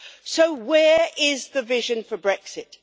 So where is the vision for Brexit?